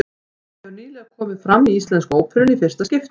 Hann hefur nýlega komið fram í Íslensku óperunni í fyrsta skipti.